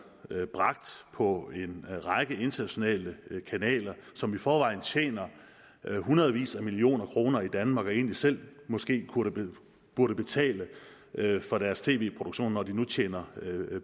bragt på en række internationale kanaler som i forvejen tjener hundredvis af millioner kroner i danmark og egentlig selv måske burde betale for deres tv produktioner når de nu tjener